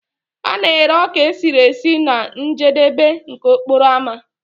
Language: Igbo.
A na-ere ọka esiri esi na njedebe nke okporo ámá